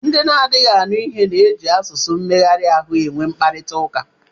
Ndị na-anaghị anụ ihe na-eji asụsụ mmegharị ahụ e nwe mkparịtaụka.